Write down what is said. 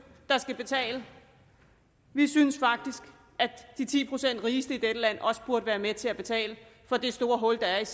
der skal betale vi synes faktisk at de ti procent rigeste i dette land også burde være med til at betale for det store hul der er